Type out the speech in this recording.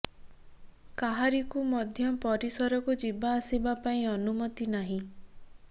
କାହାରିକୁ ମଧ୍ୟ ପରିସରକୁ ଯିବା ଆସିବା ପାଇଁ ଅନୁମତି ନାହିଁ